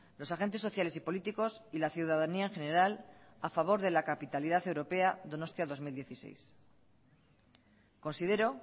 los agentes sociales y políticos y la ciudadanía en general a favor de la capitalidad europea donostia dos mil dieciséis considero